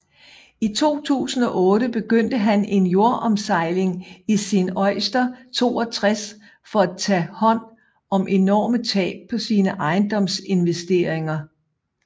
I 2008 begyndte han en jordomsejling i sin Oyster 62 for at tage hånd om enorme tab på sine ejendomsinvesteringer